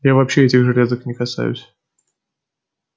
я вообще этих железок не касаюсь